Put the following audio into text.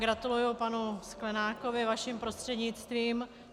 Gratuluji panu Sklenákovi vaším prostřednictvím.